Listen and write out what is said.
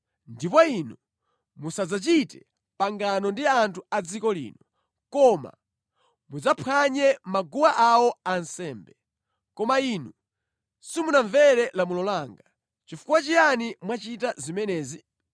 ndipo inu musadzachite pangano ndi anthu a dziko lino, koma mudzaphwanye maguwa awo ansembe.’ Koma inu simunamvere lamulo langa. Chifukwa chiyani mwachita zimenezi?